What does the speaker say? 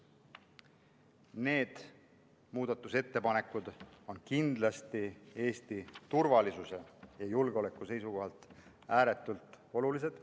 Need muudatusettepanekud on Eesti turvalisuse ja julgeoleku seisukohalt kindlasti ääretult olulised.